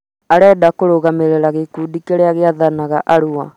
arenda kũrũgamĩrĩra gĩkundi kĩrĩa gĩathanaga Arua